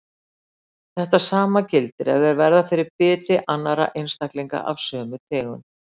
Þetta sama gildir ef þeir verða fyrir biti annarra einstaklinga af sömu tegund.